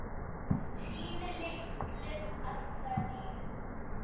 Sínu litlu af hverju.